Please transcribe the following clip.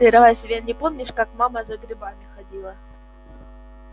ты разве не помнишь как мама за грибами ходила